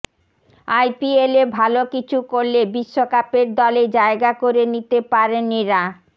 আইপিএলে ভাল কিছু করলে বিশ্বকাপের দলে জায়গা করে নিতে পারেন এঁরা